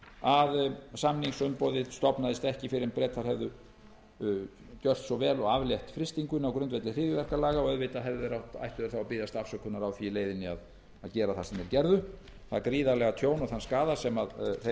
að samningsumboðið stofnaðist ekki fyrr en bretar hefðu gjört svo vel og aflétt frystingunni á grundvelli hryðjuverkalaga og auðvitað ættu þeir að biðjast afsökunar á því í leiðinni að gera það sem þeir gerðu það gríðarlega tjón og þann skaða sem þeir ollu